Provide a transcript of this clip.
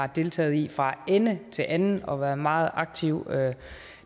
har deltaget i fra ende til anden og været en meget aktiv